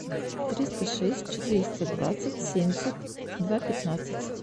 триста шесть четыреста двадцать семьдесят два пятнадцать